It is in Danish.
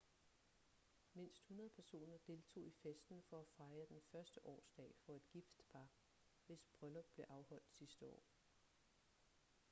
mindst 100 personer deltog i festen for at fejre den første årsdag for et gift par hvis bryllup blev afholdt sidste år